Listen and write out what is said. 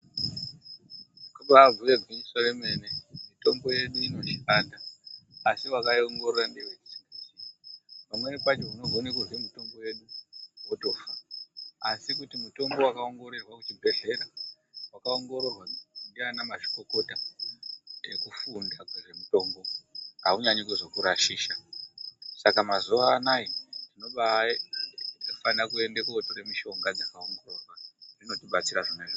Kubaabhuye gwinyiso remene mitombo yedu inoshanda, asi wakaiongorora ndiye wetisingazii. Pamweni pacho unogone kurye mutombo yedu, wotofa. Asi kuti mutombo wakaongororwa kuzvibhehleya, wakaongororwa ndiana mazvikokota ekufunda kwezvemitombo, haunyanyi kuzokurashisha. Saka mazuva anaya tinobaafane kuende kootore mishonga dzakaongororwa, dzinotibatsira zvakanyanya.